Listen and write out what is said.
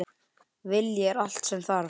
Vilji er allt sem þarf.